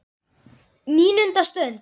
NÍUNDA STUND